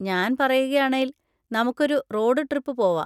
ഞാൻ പറയുകയാണേൽ, നമുക്കൊരു റോഡ് ട്രിപ്പ് പോവാ.